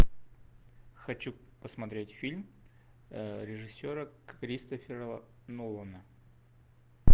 хочу посмотреть фильм режиссера кристофера нолана